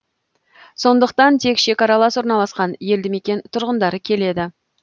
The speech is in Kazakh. сондықтан тек шекаралас орналасқан елді мекен тұрғындары келеді